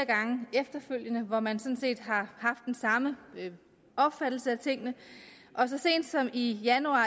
efterfølgende hvor man sådan set har haft den samme opfattelse af tingene og så sent som i januar